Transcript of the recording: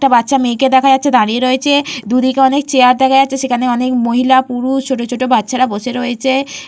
একটা বাচ্চা মেয়েকে দেখা যাচ্ছে দাঁড়িয়ে রয়েছে দুই দিকে অনেক চেয়ার দেখা যাচ্ছে অনেক মহিলা পুরো ছোট ছোট বাচ্চারা বসে রয়েছে ।